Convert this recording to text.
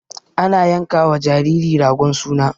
Ana yankawa jariri ragon suna.